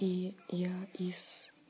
и я из